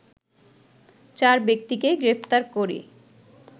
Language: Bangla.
চার ব্যক্তিকে গ্রেপ্তার করে